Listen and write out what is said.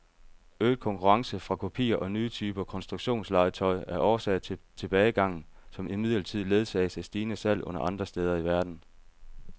Øget konkurrence fra kopier og nye typer konstruktionslegetøj er årsag til tilbagegangen, som imidlertid ledsages af stigende salg andre steder i verden.